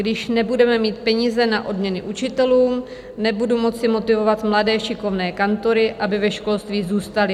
"Když nebudeme mít peníze na odměny učitelům, nebudu moci motivovat mladé šikovné kantory, aby ve školství zůstali.